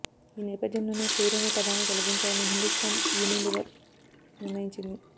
ఈ నేపథ్యంలోనే ఫెయిర్ అనే పదాన్ని తొలగించాలని హిందుస్థాన్ యూనిలీవర్ నిర్ణయించింది